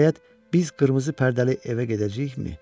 Nəhayət, biz qırmızı pərdəli evə gedəcəyikmi?